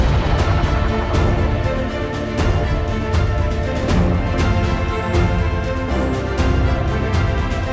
Önümüzdəki 100 il ərzində dünyanı idarə edəcək yeni bir gücün yarandığını görürük.